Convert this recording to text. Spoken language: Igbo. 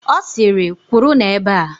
Ọ sịrị, "kwụrụnụ ebe a"!